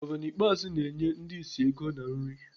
Gọvanọ Ikpeazụ na-enye ndi ịsị ego na nri.